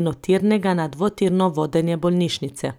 enotirnega na dvotirno vodenje bolnišnice.